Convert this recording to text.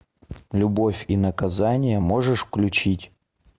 любовь и наказание можешь включить